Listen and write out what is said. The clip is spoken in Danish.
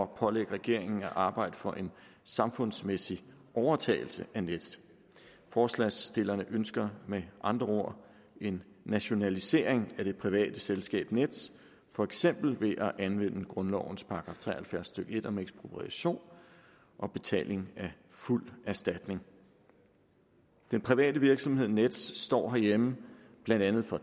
pålægge regeringen at arbejde for en samfundsmæssig overtagelse af nets forslagsstillerne ønsker med andre ord en nationalisering af det private selskab nets for eksempel ved at anvende grundlovens § tre og halvfjerds stykke en om ekspropriation og betaling af fuld erstatning den private virksomhed nets står herhjemme blandt andet for